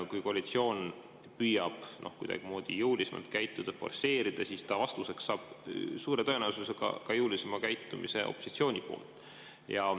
Kui koalitsioon püüab kuidagimoodi jõulisemalt käituda, forsseerida, siis ta saab suure tõenäosusega vastuseks ka jõulisema käitumise opositsiooni poolt.